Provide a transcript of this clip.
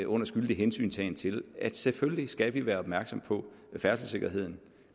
under skyldig hensyntagen til at vi selvfølgelig skal være opmærksomme på færdselssikkerheden